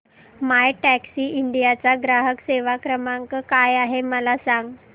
My Taxi India चा ग्राहक सेवा क्रमांक काय आहे मला सांग